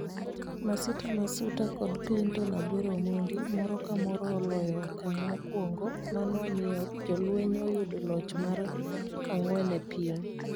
Masita Masuta kod Clinton "Aguero" Omondi moro kamorone oloyoe okang mokuongo mano omiyo jolweny oyudo loch mar angwen e piem